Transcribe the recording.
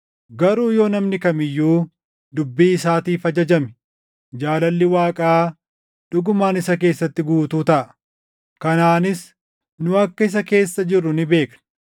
Garuu yoo namni kam iyyuu dubbii isaatiif ajajame, jaalalli Waaqaa dhugumaan isa keessatti guutuu taʼa. Kanaanis nu akka isa keessa jirru ni beekna;